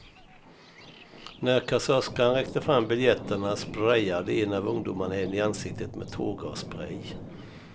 När kassörskan räckte fram biljetterna sprayade en av ungdomarna henne i ansiktet med tårgasspray.